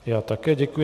Já také děkuji.